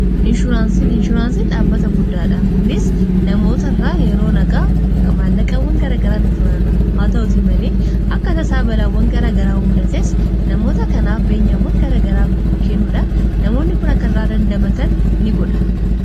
Inshuraansin inshuraansiin dhaabbata guddaadha kunis namoota irraa yeroo nagaamaallaqawwan garagaraan funaana haa ta'uti malee akkata saabalaawwan garagaraamudatess namoota kanaaf beenyawwan garagaraa kennuudhaan namoonni kun kan irra dandamatan ni godha.